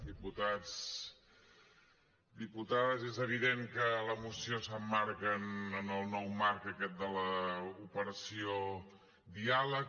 diputats diputades és evident que la moció s’emmarca en el nou marc aquest de l’operació diàleg